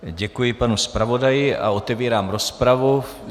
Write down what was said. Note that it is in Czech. Děkuji panu zpravodaji a otevírám rozpravu.